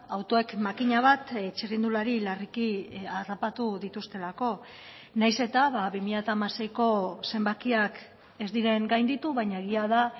autoek makina bat txirrindulari larriki harrapatu dituztelako nahiz eta bi mila hamaseiko zenbakiak ez diren gainditu baina egia da